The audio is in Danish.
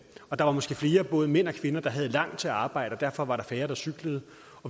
og der var måske flere både mænd og kvinder der havde langt til arbejde og derfor var der færre der cyklede